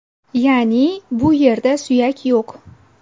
Ya’ni, bu yerda suyak yo‘q.